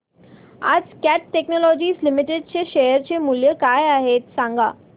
आज cat technologies limited चे share चे मूल्य किती आहे सांगा